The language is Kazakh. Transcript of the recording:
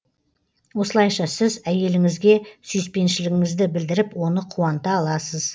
осылайша сіз әйеліңізге сүйіспеншілігіңізді білдіріп оны қуанта аласыз